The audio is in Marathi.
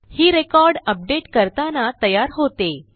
ही रेकॉर्ड अपडेट करताना तयार होते